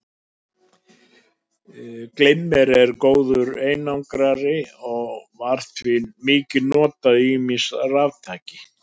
Glimmer er góður einangrari og var því mikið notað í ýmis raftæki.